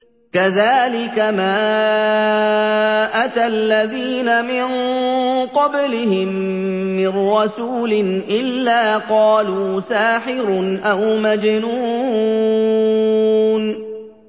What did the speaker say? كَذَٰلِكَ مَا أَتَى الَّذِينَ مِن قَبْلِهِم مِّن رَّسُولٍ إِلَّا قَالُوا سَاحِرٌ أَوْ مَجْنُونٌ